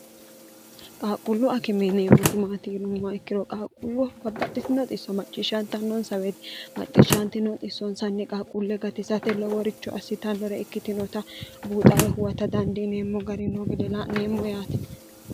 qaaqqullu akime yineemmotibmaati yinummoa ikkiro qaaqqullu babbaxxitinooxisso macciishshaantannoonsaweeti macciishshaanti nooxissoonsanni qaaqqulle gatisate loworichu assitannore ikkitinota buuxawe huwata dandiineemmo gari no yineemmo yaati